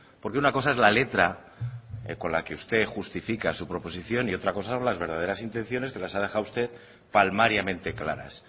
porque una cosa es la letra con la que usted justifica su proposición y otra cosa las verdaderas intenciones que las ha dejado usted palmariamente claras